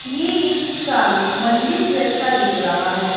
ये एक सामने मंदिर जैसा दिख रहा है।